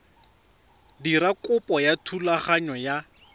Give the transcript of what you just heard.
dira kopo ya thulaganyo ya